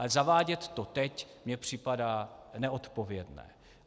Ale zavádět to teď mně připadá neodpovědné.